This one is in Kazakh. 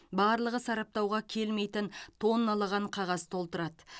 барлығы сараптауға келмейтін тонналаған қағаз толтырады